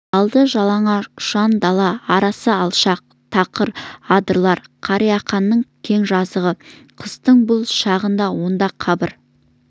алды жалаңаш ұшан дала арасы алшақ тақыр адырлар қарақияның кең жазығы қыстың бұл шағында онда қыбыр